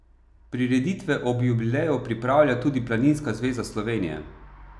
Prireditve ob jubileju pripravlja tudi Planinska zveza Slovenije.